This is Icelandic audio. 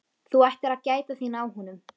Þú ættir að gæta þín á honum